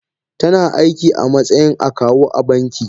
Tana aiki a matsayin akawu a banki